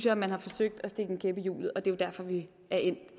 at man har forsøgt at stikke en kæp i hjulet og det er jo derfor vi er endt